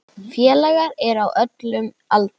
Félagar eru á öllum aldri.